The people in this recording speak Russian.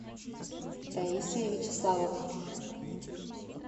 таисия вячеславовна